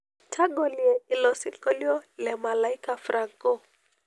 tagolie ilo sinkolio le malaika franco